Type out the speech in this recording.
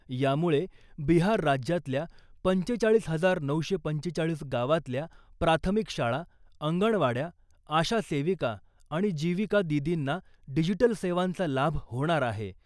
यामुळे बिहार राज्यातल्या पंचेचाळीस हजार नऊशे पंचेचाळीस गावातल्या प्राथमिक शाळा , अंगणवाड्या , आशा सेविका आणि जीविका दीदींना डिजिटल सेवांचा लाभ होणार आहे .